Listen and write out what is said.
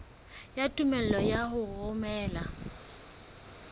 ya tumello ya ho romela